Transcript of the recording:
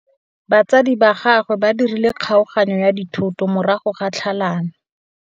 Batsadi ba gagwe ba dirile kgaoganyô ya dithoto morago ga tlhalanô.